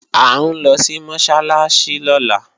À ń lọ sí Mọ́sálásí lọ́la